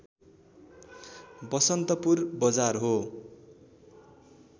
बसन्तपुर बजार हो